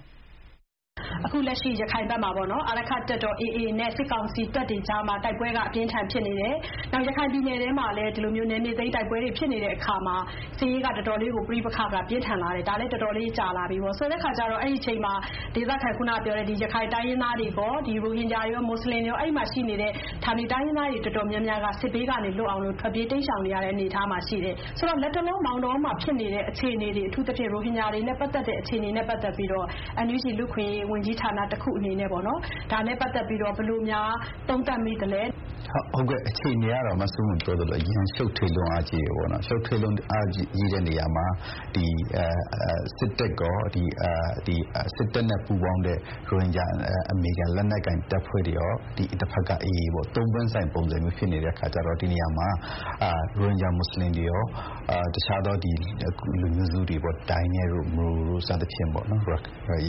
။ အခုလက်ရှိ ရခိုင်ဘက်မှာ အာရက္ခတပ်တော် AA နဲ့ စစ်ကောင်စီတပ်တွေကြားမှာ တိုက်ပွဲက အပြင်းအထန်ဖြစ်နေတယ်။ နောက် ရခိုင်ပြည်နယ်ထဲမှာလည်း နယ်မြေသိမ်းတိုက်ပွဲတွေဖြစ်နေတဲ့အခါမှာ စစ်ရေးက တော်တော်လေးကို - ပဋိပက္ခက ပြင်းထန်လာတယ်။ ဒါလည်း တော်တော်လေး ကြာလာပြီပေါ့။ ဆိုတဲ့အခါကျတော့ အဲဒီ အချိန်မှာ ခုနကပြောတဲ့ ဒေသခံ - အဲဒီ ရခိုင်တိုင်းရင်းသားတွေကော ရိုဟင်ဂျာတွေရော၊ မွတ်ဆလင်တွေရာ အဲဒီမှာရှိနေတဲ့ ဌာနေတိုင်းရင်းသားတွေ တော်တော်များများက စစ်ဘေးကနေလွတ်အောင်လို့ ထွက်ပြေးတိမ်းရှောင်နေရတဲ့အနေအထားမှာရှိတယ်။ ဆိုတော့ လတ်တလော မောင်တောများဖြစ်နေတဲ့အခြေအနေတွေ၊ အထူးသဖြင့် ရိုဟင်ဂျာတွေနဲ့ပတ်သက်တဲ့အခြေအနေတွေတွေနဲ့ပတ်သက်ပြီးတော့ NUG လူ့အခွင့်အရေးဝန်ကြီးဌာနတခုအနေနဲ့ ဒါနဲ့ပတ်သက်ပြီးတော့ ဘယ်လိုများ သုံးသပ်မိသလဲ။ ဦးအောင်ကျော်မိုး။ ။ ဟုတ်ကဲ့၊ အခြေအနေကတော့ မဆုမွန်ပြောသလိုပဲ အရမ်းရှုပ်ထွေးတယ်။ ရှုပ်ထွေးလွန်းအားကြီးတဲ့နေရာမှာ စစ်တပ်ကော စစ်တပ်နဲ့ပူးပေါင်းတဲ့ ရိုဟင်ဂျာအမည်ခံ လက်နက်ကိုင်တပ်ဖွဲ့တွေကော၊ တဖက်က AA ပေါ့၊ သုံးပွင့်ဆိုင်ပုံစမျိုးဖြစ်နေတဲ့ အခါကျတော့ ဒီနေရာမှာ ရိုဟင်ဂျာမွတ်ဆလင်တွေရော တခြားသော လူမျိုးစုတွေပေါ့၊ ဒိုင်းနက်တို့၊ မရို တို့ စသဖြင့်